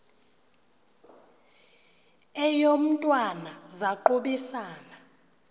eyo mntwana zaquisana